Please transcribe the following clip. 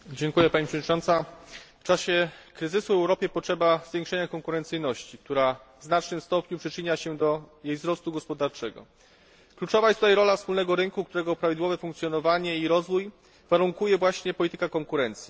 Pani Przewodnicząca! W czasie kryzysu Europie potrzeba zwiększenia konkurencyjności, która w znacznym stopniu przyczynia się do jej wzrostu gospodarczego. Kluczowa jest tutaj rola wspólnego rynku, którego prawidłowe funkcjonowanie i rozwój warunkuje właśnie polityka konkurencji.